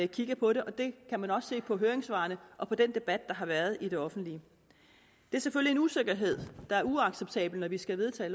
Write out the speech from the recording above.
kigger på det og det kan man også se på høringssvarene og på den debat der har været i det offentlige det er selvfølgelig en usikkerhed der er uacceptabel når vi skal vedtage